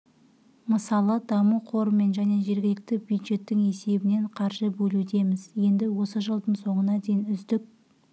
мысалы даму қорымен және жергілікті бюджеттің есебінен қаржы бөлудеміз енді осы жылдың соңына дейін үздік